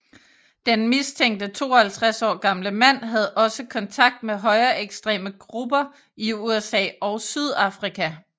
Den mistænkte 52 år gamle mand havde også kontakt med højreekstreme grupper i USA og Sydafrika